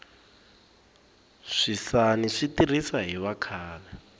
swisani swi tirhisa hi vakhale